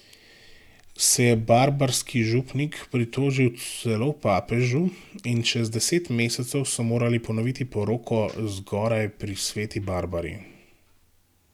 Se je barbarski župnik pritožil celo papežu in čez deset mesecev so morali ponoviti poroko zgoraj pri sveti Barbari.